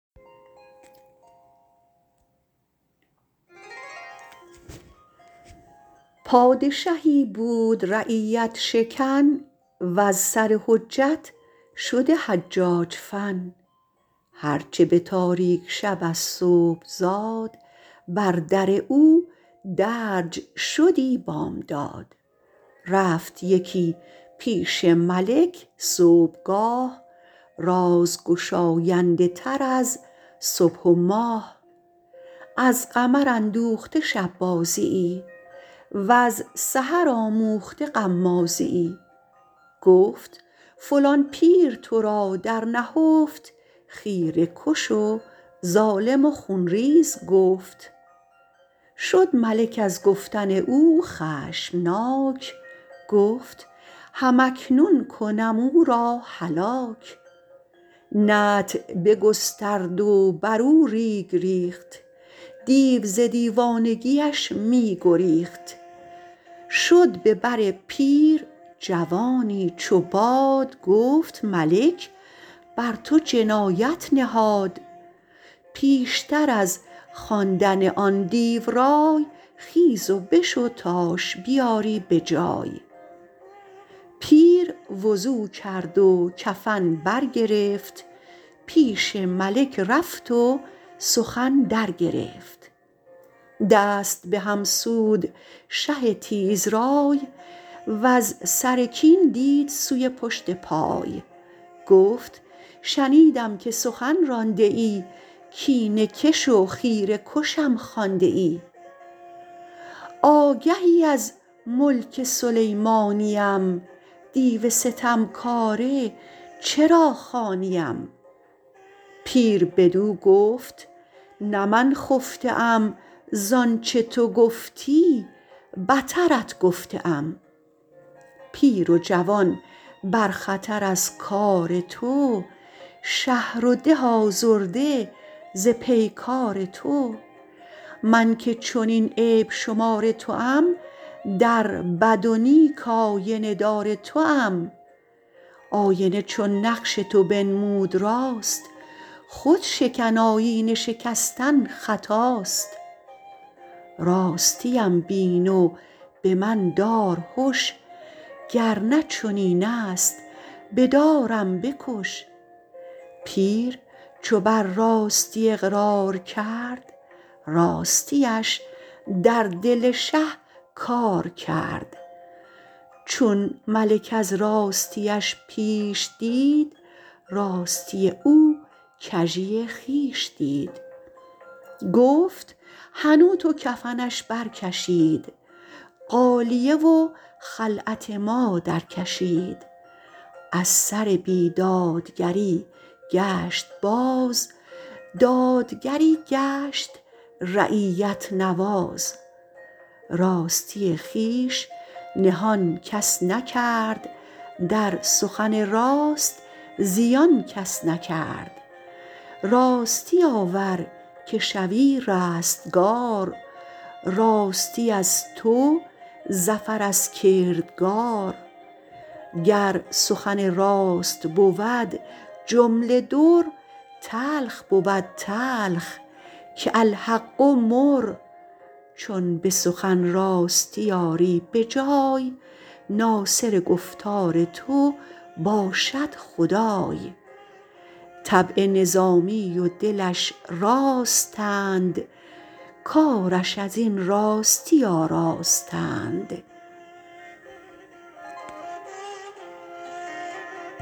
پادشهی بود رعیت شکن وز سر حجت شده حجاج فن هرچه به تاریک شب از صبح زاد بر در او درج شدی بامداد رفت یکی پیش ملک صبحگاه راز گشاینده تر از صبح و ماه از قمر اندوخته شب بازی یی وز سحر آموخته غمازی یی گفت فلان پیر تو را در نهفت خیره کش و ظالم و خونریز گفت شد ملک از گفتن او خشمناک گفت هم اکنون کنم او را هلاک نطع بگسترد و بر او ریگ ریخت دیو ز دیوانگی اش می گریخت شد به بر پیر جوانی چو باد گفت ملک بر تو جنایت نهاد پیشتر از خواندن آن دیو رای خیز و بشو تاش بیاری بجای پیر وضو کرد و کفن برگرفت پیش ملک رفت و سخن درگرفت دست به هم سود شه تیز رای وز سر کین دید سوی پشت پای گفت شنیدم که سخن رانده ای کینه کش و خیره کشم خوانده ای آگهی از ملک سلیمانی ام دیو ستمکاره چرا خوانی ام پیر بدو گفت نه من خفته ام زانچه تو گفتی بترت گفته ام پیر و جوان بر خطر از کار تو شهر و ده آزرده ز پیکار تو من که چنین عیب شمار توام در بد و نیک آینه دار توام آینه چون نقش تو بنمود راست خود شکن آیینه شکستن خطاست راستی ام بین و به من دار هش گر نه چنین است به دارم بکش پیر چو بر راستی اقرار کرد راستی اش در دل شه کار کرد چون ملک از راستی اش پیش دید راستی او کژی خویش دید گفت حنوط و کفنش برکشید غالیه و خلعت ما درکشید از سر بی دادگری گشت باز دادگری گشت رعیت نواز راستی خویش نهان کس نکرد در سخن راست زیان کس نکرد راستی آور که شوی رستگار راستی از تو ظفر از کردگار گر سخن راست بود جمله در تلخ بود تلخ که الحق مر چون به سخن راستی آری به جای ناصر گفتار تو باشد خدای طبع نظامی و دلش راستند کارش ازین راستی آراستند